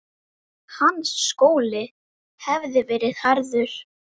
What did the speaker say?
Hans skóli hafði verið harður.